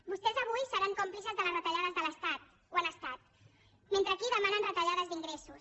vostès avui seran còmplices de les retallades de l’estat ho han estat mentre aquí demanen retallades d’ingressos